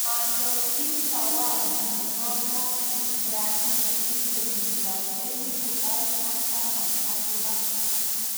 Manyor chii zawadi nebo Mo ibrahim eng' kenyit ab elibu aeng' ak taman ak lo